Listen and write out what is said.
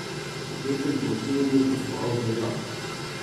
V petek bo v Tivoliju gostoval Beljak.